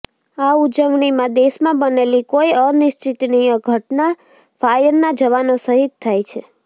આ ઉજવણીમાં દેશમાં બનેલી કોઈ અનિચ્છનીય ઘટનામાં ફાયરના જવાનો શહિદ થાય છે